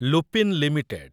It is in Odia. ଲୁପିନ୍ ଲିମିଟେଡ୍